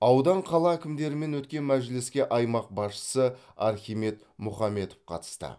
аудан қала әкімдерімен өткен мәжіліске аймақ басшысы архимед мұхаметов қатысты